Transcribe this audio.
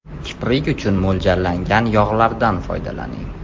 Kiprik uchun mo‘ljallangan yog‘lardan foydalaning.